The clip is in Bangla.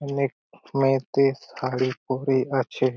অনেক মেয়েটি শাড়ি পরে আছে।